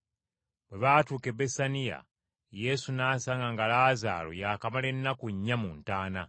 Bwe baatuuka e Besaniya Yesu n’asanga nga Laazaalo yaakamala ennaku nnya mu ntaana.